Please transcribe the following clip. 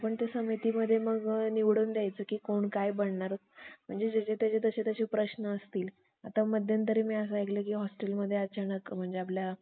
त्यांपैकी गोमांस खाणे व दारू पिणे, मात्र बंद करून एकंदर आपल्या सर्व ग्रंथात फेराफेर करून. त्यासर्वात मजबुती येण्याकरिता एक नवीन